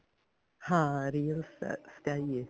ਹਾਂ real ਸਚਾਈ ਐ